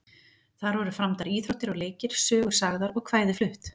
Þar voru framdar íþróttir og leikir, sögur sagðar og kvæði flutt.